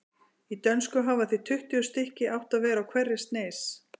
Í dönsku hafa því tuttugu stykki átt að vera á hverri sneis.